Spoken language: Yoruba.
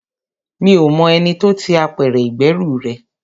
Mi ò mọ ẹni tó ti apẹ̀rẹ̀ ìgbẹ́rù rẹ.